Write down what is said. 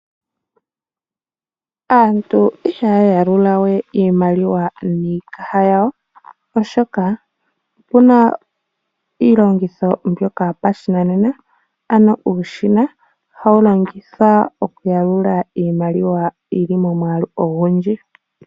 Aantu ihaya yalula we iimaliwa niikaha yawo yowene oshoka opena iilongitho mboka yopashinanena ano uushina ohawu longithwa okuyalula iimaliwa yili momwaalu ogundji.